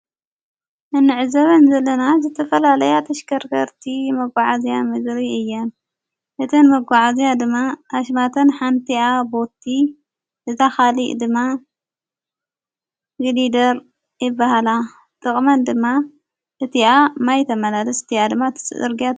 እንዕዘበን ዘለና ዘተፈላለያ ተሽከርገርቲ መጕዓእዝያ ምድሪ እየን እቲን መጐዓእዝያ ድማ ኣሽማተን ሓንቲኣ ቦቲ ዝታኻሊቕ ድማ ግዲደር የበሃላ ጥቕመን ድማ እቲኣ ማይተመላለስ እቲኣ ድማ ትስርግ፡፡